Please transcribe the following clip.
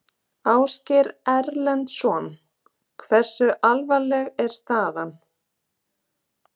Ásgeir Erlendsson: Hversu alvarleg er staðan?